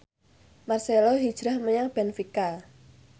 marcelo hijrah menyang benfica